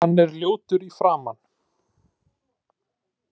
Hann er ljótur í framan.